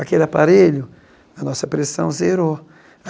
Aquele aparelho, a nossa pressão zerou.